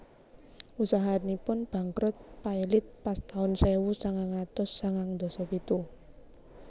Usahanipun bangkrut pailit pas taun sewu sangang atus sangang ndasa pitu